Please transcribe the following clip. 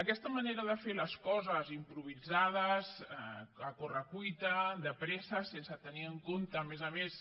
aquesta manera de fer les coses improvisades a correcuita de pressa sense tenir en compte a més a més